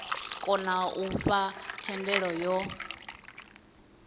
kona u fha thendelo yo